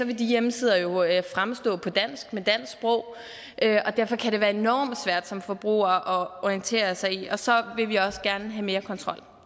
vil de hjemmesider jo fremstå på dansk og derfor kan det være enormt svært som forbruger at orientere sig i det og så vil vi også gerne have mere kontrol